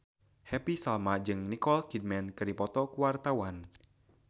Happy Salma jeung Nicole Kidman keur dipoto ku wartawan